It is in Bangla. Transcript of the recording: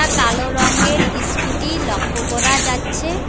কালো রংয়ের ইস্কুটি লক্ষ করা যাচ্ছে।